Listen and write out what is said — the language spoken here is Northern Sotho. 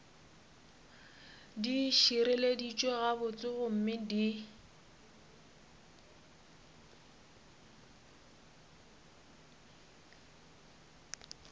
di šireleditšwe gabotse gomme di